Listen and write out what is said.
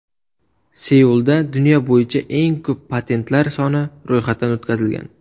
Seulda dunyo bo‘yicha eng ko‘p patentlar soni ro‘yxatdan o‘tkazilgan.